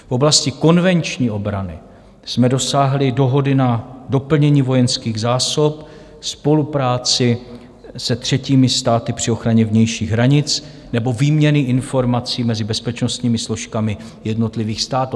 V oblasti konvenční obrany jsme dosáhli dohody na doplnění vojenských zásob, spolupráci se třetími státy při ochraně vnějších hranic nebo výměny informací mezi bezpečnostními složkami jednotlivých států.